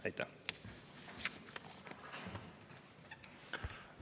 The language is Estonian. Aitäh!